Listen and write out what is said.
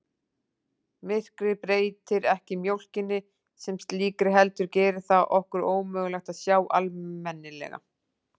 Myrkrið breytir ekki mjólkinni sem slíkri heldur gerir það okkur ómögulegt að sjá almennilega.